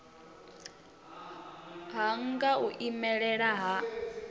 ha nha u imelela ha